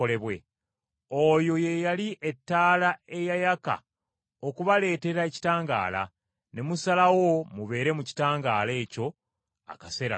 Oyo ye yali ettaala eyayaka okubaleetera ekitangaala, ne musalawo mubeere mu kitangaala ekyo akaseera katono.